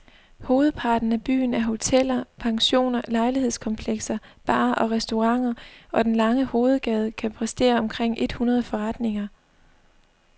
Hovedparten af byen er hoteller, pensioner, lejlighedskomplekser, barer og restauranter, og den lange hovedgade kan præstere omkring et hundrede forretninger.